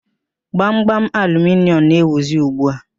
Gbamgbam aluminịọmụ na-ewuzi ugbu a.